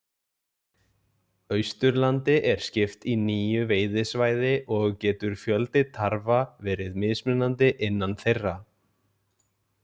Austurlandi er skipt í níu veiðisvæði og getur fjöldi tarfa verið mismunandi innan þeirra.